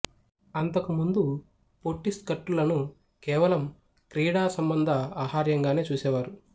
అంతకు ముందు పొట్టి స్కర్టులను కేవలం క్రీడా సంబంధ ఆహార్యంగానే చూసేవారు